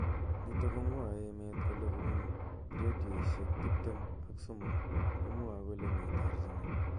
Nitok komwae emet kole kobun raddioishek tip tem ak somok komwae kole mi terjinet.